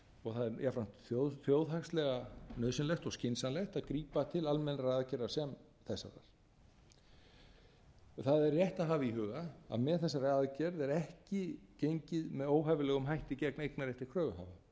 og það er jafnframt þjóðhagslega nauðsynlegt og skynsamlegt að grípa til almennra aðgerða sem þessara það er rétt að hafa í huga að með þessari aðgerð er ekki gengið með óhæfilegum hætti gegn eignarrétti kröfuhafa